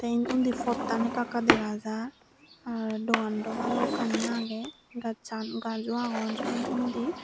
eyen undi poton eka eka degajar dugando balukani aagey gaj chan gajso agon undi.